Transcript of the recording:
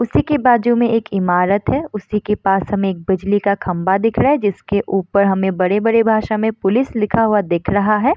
उसी की बाजु में एक ईमारत है उसी की पास में एक बिजली का खम्बा दिख रहा है जिसके ऊपर हमें बड़े-बड़े भाषा में पुलिस लिखा हुआ दिख रहा है।